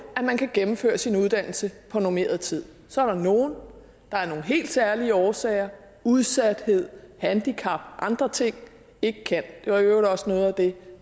at man kan gennemføre sin uddannelse på normeret tid så er der nogle der af nogle helt særlige årsager udsathed handicap andre ting ikke kan det var i øvrigt også nogle af dem